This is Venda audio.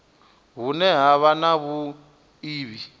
hune ha vha na vhuiivhi